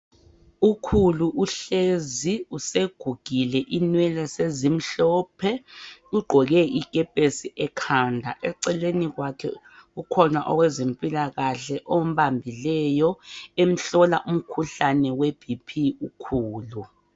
Ukhulu uhlezi usegugile inwele sezimhlophe. Ugqoke ikepesi ekhanda. Eceleni kwakhe kukhona owezempilakahle ombambileyo emhlola umkhuhlane weBP ukhulu.